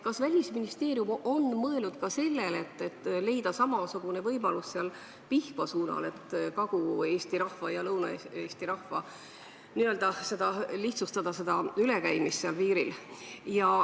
Kas Välisministeerium on mõelnud ka sellele, et leida samasugune võimalus Pihkva suunal, et Kagu-Eesti ja Lõuna-Eesti rahva piiri taga käimist lihtsustada?